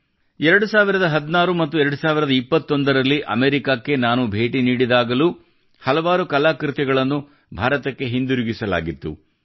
2016 ಮತ್ತು 2021ರಲ್ಲಿ ಅಮೆರಿಕಕ್ಕೆ ನಾನು ಭೇಟಿ ನೀಡಿದಾಗಲೂ ಹಲವಾರು ಕಲಾಕೃತಿಗಳನ್ನು ಭಾರತಕ್ಕೆ ಹಿಂತಿರುಗಿಸಲಾಗಿತ್ತು